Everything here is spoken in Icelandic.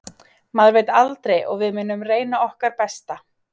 Maður veit aldrei og við munum reyna okkar besta.